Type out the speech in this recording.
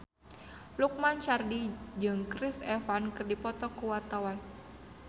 Lukman Sardi jeung Chris Evans keur dipoto ku wartawan